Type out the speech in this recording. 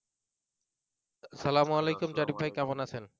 আসসালামু আলাইকুম জারিফ ভাই কেমন আছেন